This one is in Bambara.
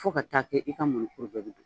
Fo ka taa kɛ i ka mɔnikuru bɛɛ bɛ don